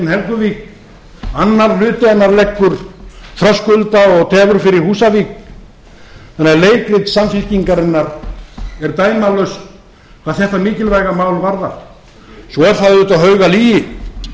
annar hluti hendur leggur þröskulda og tefur fyrir húsavík þannig að leikrit samfylkingarinnar er dæmalaust hvað þetta mikilvæga mál varðar svo er það auðvitað haugalygi að